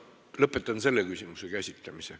Lõpetan selle küsimuse käsitlemise.